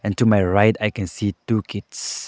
And to my right I can see two kids.